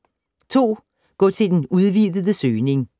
2. Gå til den udvidede søgning